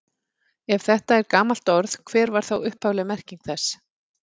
Ef þetta er gamalt orð, hver var þá upphafleg merking þess?